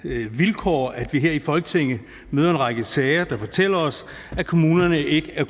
er et vilkår at vi her i folketinget møder en række sager der fortæller os at kommunerne ikke er